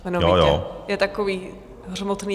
Jeho hlas je takový hřmotný.